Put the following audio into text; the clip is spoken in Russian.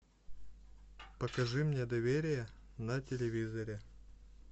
покажи мне доверие на телевизоре